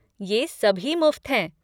ये सभी मुफ़्त है।